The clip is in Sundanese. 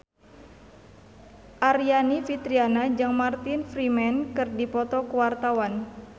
Aryani Fitriana jeung Martin Freeman keur dipoto ku wartawan